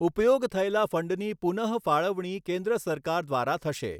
ઉપયોગ થયેલા ફંડની પુનઃફાળવણી કેન્દ્ર સરકાર દ્વારા થશે.